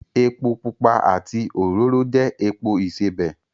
Epo pupa àti òróró jẹ́ epo ìsebẹ̀